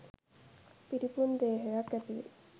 පිරිපුන් දේහයක් ඇති වේ,